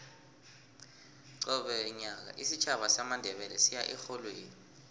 qobe nyaka isitjhaba samandebele siya erholweni